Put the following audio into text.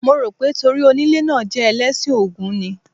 Mo rò pé torí onílé náà jẹ́ Ẹlẹ́sìn Ògún ni.